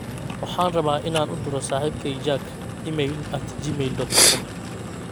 waxaan rabaa in aan u diro saxiibkeyga jack iimayl at gmail dot com